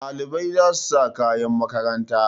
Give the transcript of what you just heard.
Ɗalibai za su sa kayan makaranta.